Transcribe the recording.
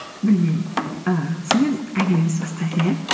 білмеймін і сонымен әңгімемізді бастайық иә